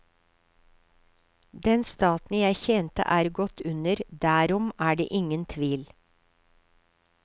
Den staten jeg tjente er gått under, derom er det ingen tvil.